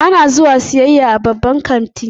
Ana zuwa siyayya a babban kanti.